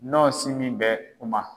N'o siginbɛ dugu ma.